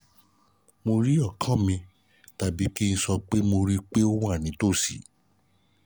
mo rí ọkàn mi tàbí kí n sọ pé mo rí i pé ó wà nítòsí